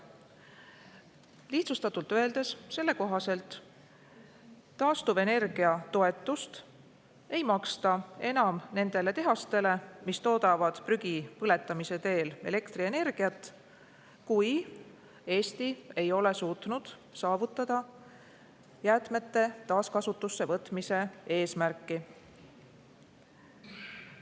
Lihtsustatult öeldes, kui Eesti ei ole suutnud saavutada jäätmete taaskasutusse võtmise eesmärki, siis selle kohaselt ei maksta taastuvenergia toetust enam nendele tehastele, mis toodavad prügi põletamise teel elektrienergiat.